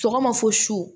Sɔgɔma fo su su